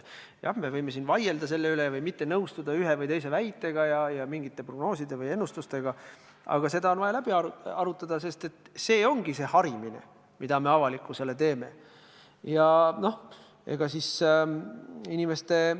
Jah, me võime siin selle üle vaielda ja ühe või teise väitega ning mingite prognooside või ennustustega mitte nõustuda, aga see on vaja läbi arutada, sest nii me avalikkust harimegi.